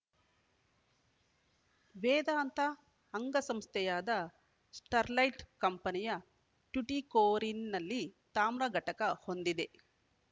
ವೇದಾಂತ ಅಂಗಸಂಸ್ಥೆಯಾದ Sterlite company ಟ್ಯುಟಿಕೋರಿನ್‌ನಲ್ಲಿ ತಾಮ್ರ ಘಟಕ ಹೊಂದಿದೆ